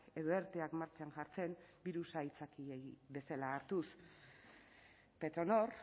edo erteak martxan jartzen birusa aitzakiei bezala hartuz petronor